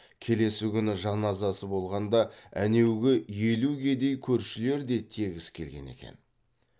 келесі күні жаназасы болғанда әнеугі елу кедей көршілер де тегіс келген екен